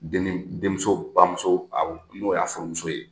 Dennin den muso bamuso, Awɔ, n'o y'a furumuso ye.